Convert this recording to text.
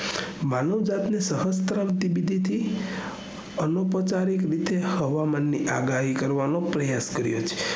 માનવ જાત ની શાસ્ત્ર વિધિથી એનો ઉપચારિક રીતે હવામાન ની આગાહી કરવાનો પ્રયાસ કર્યો છે